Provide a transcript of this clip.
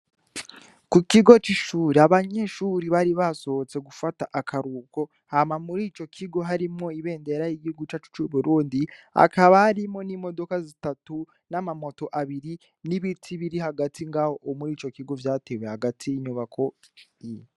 Ku kigo c'ishuri abanyeshuri bari basohotse gufata akaruhuko, hama mur'ico kigo harimwo ibendera y'igihugu cacu c'Uburundi, hakaba harimwo n'imodoka zitatu n'amamoto abiri, n'ibiti biri hagati ngaho mur'ico kigo vyatewe hagati y'inyubako.